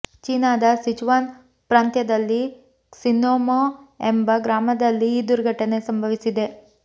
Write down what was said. ಚೀನಾದ ಸಿಚುವಾನ್ ಪ್ರಾಂತ್ಯದಲ್ಲಿ ಕ್ಸಿನ್ಮೋ ಎಂಬ ಗ್ರಾಮದಲ್ಲಿ ಈ ದುರ್ಘಟನೆ ಸಂಭವಿಸಿದೆ